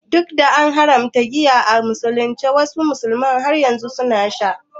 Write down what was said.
Duk da an haramta giya a musulunci, wasu musulmin har yanzu suna sha.